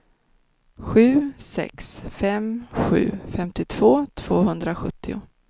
sju sex fem sju femtiotvå tvåhundrasjuttio